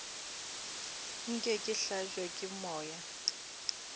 nke ke hlabje ke moya